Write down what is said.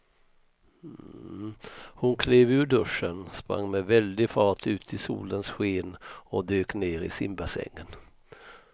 Hon klev ur duschen, sprang med väldig fart ut i solens sken och dök ner i simbassängen.